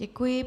Děkuji.